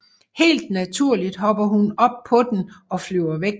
Helt naturligt hopper hun op på den og flyver væk